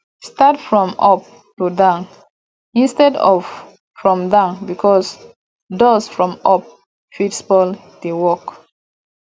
start from up to down instead of from down because dust from up fit spoil di work